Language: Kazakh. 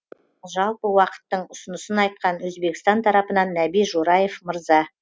жалпы уақыттың ұсынысын айтқан өзбекстан тарапынан нәби жораев мырза